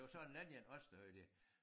Det var så den anden der også der havde det